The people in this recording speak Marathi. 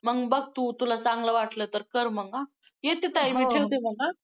मग बघ तू, तुला चांगलं वाटलं तर कर मग हा! येते ताई, मी ठेवते मग हा!